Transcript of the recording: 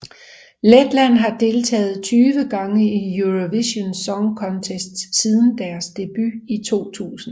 Letland har deltaget 20 gange i Eurovision Song Contest siden deres debut i 2000